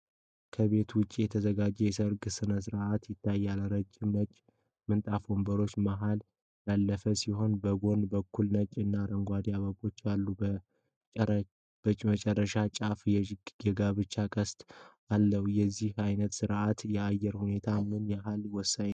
ከቤት ውጭ የተዘጋጀ የሰርግ ሥነ ሥርዓት ይታያል። ረጅም ነጭ ምንጣፍ ወንበሮች መሀል ያለፈ ሲሆን፣ በጎን በኩል ነጭ እና አረንጓዴ አበቦች አሉ። በመጨረሻው ጫፍ የጋብቻ ቅስት አለ። ለዚህ አይነት ሥነ ሥርዓት የአየር ሁኔታ ምን ያህል ወሳኝ ነው?